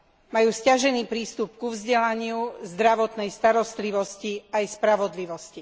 Majú sťažený prístup ku vzdelaniu, zdravotnej starostlivosti aj spravodlivosti.